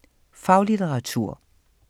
Faglitteratur